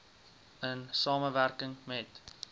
in samewerking met